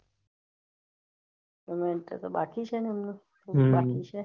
હ અત્યારે તો બાકી છે એમનું બાકી છે